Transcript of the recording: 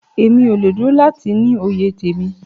Emi o le dúró láti ní òye temí.